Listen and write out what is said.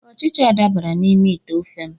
Ọchịcha dabara n'ime ite ofe m.